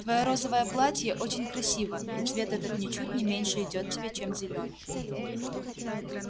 твоё розовое платье очень красиво и цвет этот ничуть не меньше идёт тебе чем зелёный